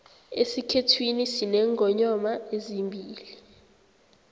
esikhethwini sinengonyoma ezimbili